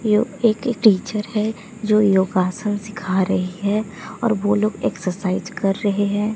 यो एक टीचर है जो योगासन सीखा रही है और वो लोग एक्सरसाइज कर रहे है।